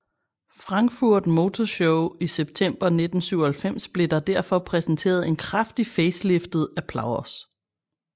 Frankfurt Motor Show i september 1997 blev der derfor præsenteret en kraftigt faceliftet Applause